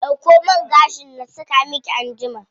Dauko man gashin na saka miki anjima.